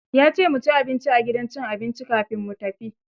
Ya ce mu ci abinci a gidan cin abinci kafin mu tafi.